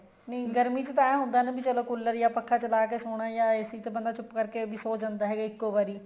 ਨਹੀਂ ਗਰਮੀ ਚ ਤਾਂ ਐਹ ਹੁੰਦਾ ਨਾ ਵੀ ਚਲੋਂ collar ਜਾ ਪੱਖਾ ਚਲਾਕੇ ਸੋਣਾ ਏ ਜਾ AC ਚ ਬੰਦਾ ਚੁੱਪ ਕਰਕੇ ਸੋ ਜਾਂਦਾ ਏ ਇੱਕੋ ਵਾਰੀ